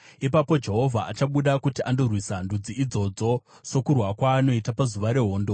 Ipapo Jehovha achabuda kuti andorwisa ndudzi idzodzo, sokurwa kwaanoita pazuva rehondo.